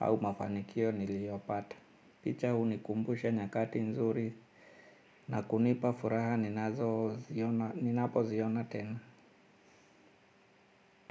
au mafanikio niliyopata. Picha hunikumbusha nyakati nzuri na kunipa furaha ninapoziona tena.